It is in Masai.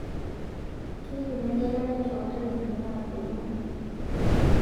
Keidipi egelare too ntarikini naageluno